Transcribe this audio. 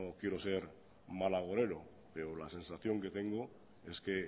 quiero ser mal agorero pero la sensación que tengo es que